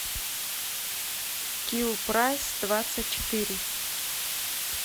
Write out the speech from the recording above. киллпрайсдвадцатьчетыре